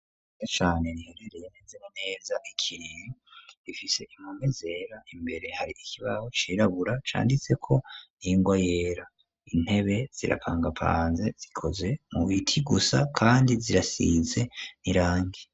Cane riherereye neza na neza ,ikiriri ,ifise impome zera, imbere hari ikibaho cirabura, canditse ko ningwa yera, intebe zirapangapanze zikoze mu biti gusa, kandi zirasize n'irangi.